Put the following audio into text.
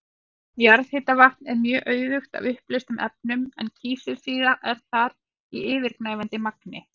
Jarðhitavatn er mjög auðugt af uppleystum efnum en kísilsýra er þar í yfirgnæfandi magni.